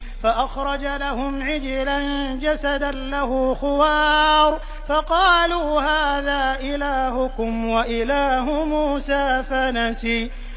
فَأَخْرَجَ لَهُمْ عِجْلًا جَسَدًا لَّهُ خُوَارٌ فَقَالُوا هَٰذَا إِلَٰهُكُمْ وَإِلَٰهُ مُوسَىٰ فَنَسِيَ